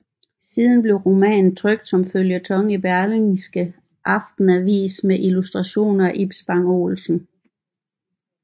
Siden blev romanen trykt som føljeton i Berlingske Aftenavis med illustrationer af Ib Spang Olsen